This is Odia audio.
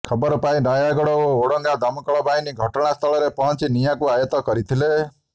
ଖବର ପାଇ ନୟାଗଡ଼ ଓ ଓଡ଼ଗାଁ ଦମକଳ ବାହିନୀ ଘଟଣା ସ୍ଥଳରେ ପହଞ୍ଚି ନିଆଁକୁ ଆୟତ୍ତ କରିଥିଲେ